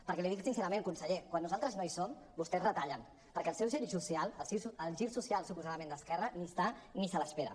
perquè l’hi dic sincerament conseller quan nosaltres no hi som vostès retallen perquè el seu gir social el gir social suposadament d’esquerra ni hi és ni se l’espera